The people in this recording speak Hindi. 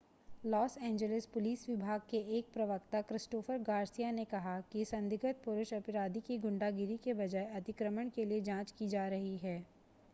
लॉस एंजेलिस पुलिस विभाग के एक प्रवक्ता क्रिस्टोफर गार्सिया ने कहा कि संदिग्ध पुरुष अपराधी की गुंडागिरी के बजाय अतिक्रमण के लिए जांच की जा रही है